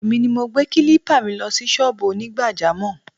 Èmi ni mo gbé kílípà mi lọ sí sọ́ọ̀bù Onigbajamọ̀